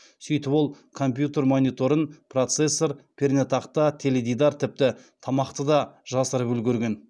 сөйтіп ол компьютер мониторын процессор пернетақта теледидар тіпті тамақты да жасырып үлгерген